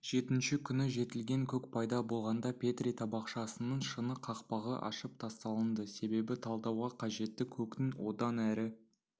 жетінші күні жетілген көк пайда болғанда петри табақшасының шыны қақпағы ашып тасталынды себебі талдауға қажетті көктің одан әрі